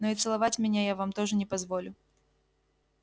но и целовать меня я вам тоже не позволю